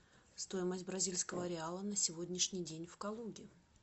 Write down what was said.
стоимость бразильского реала на сегодняшний день в калуге